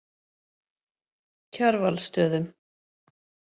Kjarvalsstöðum